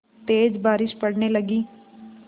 तेज़ बारिश पड़ने लगी